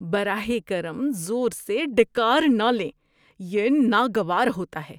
براہ کرم زور سے ڈکار نہ لیں، یہ ناگوار ہوتا ہے۔